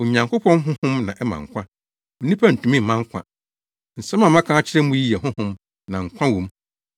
Onyankopɔn honhom na ɛma nkwa. Onipa ntumi mma nkwa. Nsɛm a maka akyerɛ mo yi yɛ honhom na nkwa wɔ mu,